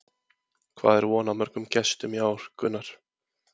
Hvað er von á mörgum gestum í ár, Gunnar?